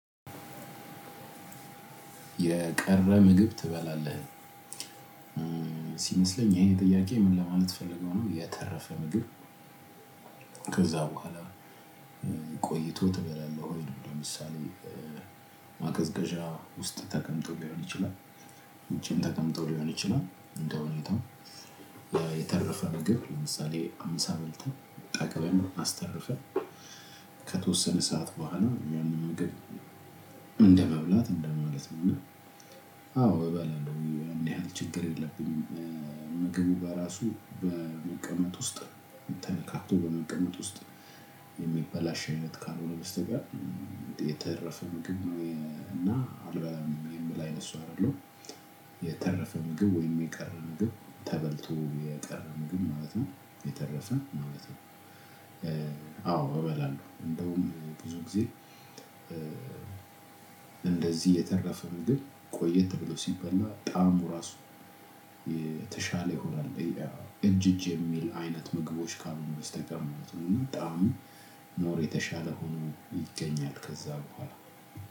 የቀረ ምግብ ትበላለህ? ሲመስለኝ ይሄን ጥያቄ ምን ለማለት ፈልገው ነው? የተረፈ ምግብ፤ ከዛ በኋላ ቆይቶ ትበላለህ ወይ? ነው። ለምሳሌ ማቀዝቀዣ ውስጥ ተቀምጦ ሊሆን ይችላል፤ ውጪም ተቀምጦ ሊሆን ይችላል? እንደ ሁኔታው። የተረፈ ምግብ ለምሳሌ ምሳ በልተን፤ ጠግበን፤ አስተርፈን ከተወሰነ ሰዓት በኋላ ያንን ምግብ እንደመብላት እንደማለት ነው እና። አዎ! እባላለሁ እንዲህ ያህል ችግር የለብኝም። ምግቡ በራሱ በመቀመጥ ውስጥ ተነካክቶ በመቀመጥ ውስጥ የሚበላሽ አይነት ካልሆነ በስተቀር የተረፈ ምግብ እና አልበላም የምል አይነት ሰው አይደለሁም። የተረፈ ምግብ ወይም የቀረ ምግብ ተበልቶ የቀረ ምግብ ማለት ነው፤ የተረፈ ማለት ነው። አዎ! እበላለሁ። እንደውም ብዙ ጊዜ እንደዚህ የተረፈ ምግብ ቆየ ተብሎ ሲበላ ጣዕሙ እራሱ የተሻለ ይሆናል። እጅ እጅ የሚል አይነት ምግቦች ካልሆኑ በስተቀር ማለት ነው እና ጣዕሙ ሞር የተሻለ ሆኖ ይገኛል ከዛ በኋላ።